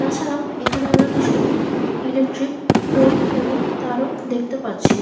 তাছাড়া ও এখানে আমরা কিছু ইলেকট্রিক পোল এবং তারও দেখতে পাচ্ছি।